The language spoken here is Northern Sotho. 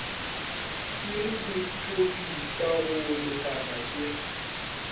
pireletpwe ka go lekana ke